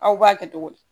Aw b'a kɛ cogo di